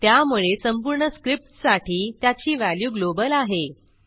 त्यामुळे संपूर्ण स्क्रिप्टसाठी त्याची व्हॅल्यू ग्लोबल आहे